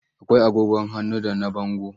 Akwai agogon hannu da na bango.